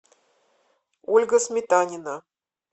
ольга сметанина